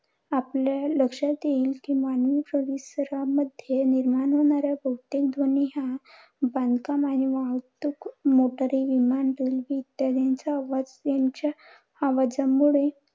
आपल्या लक्षात येईल कि, मानव परिसरामध्ये निर्माण होणारा बहुतेक ध्वनी हा बांधकाम आणि वाहतूक motors विमान railway, bus इत्यादींच्या आवाज यांच्या आवाजामुळे